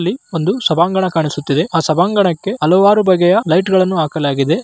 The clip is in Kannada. ಅಲ್ಲಿ ಒಂದು ಸಭಾಂಗಣ ಕಾಣಿಸುತ್ತಿದೆ ಆ ಸಭಾಂಗಣಕ್ಕೆ ಹಲವಾರು ಬಗೆಯ ಲೈಟ್‌ಗ ಳನ್ನು ಹಾಕಲಾಗಿದೆ.